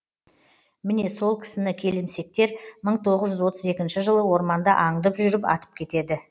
міне сол кісіні келімсектер мың тоғыз жүз отыз екінші жылы орманда аңдып жүріп атып кетеді